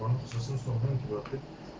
ты